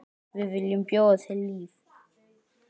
Við viljum bjóða þér líf.